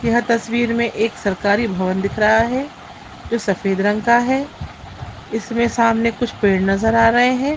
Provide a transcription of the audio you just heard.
यह तस्वीर में एक सरकारी भवन दिख रहा है जो सफ़ेद रंग का है इसमें सामने कुछ पेड़ नज़र आ रहे है।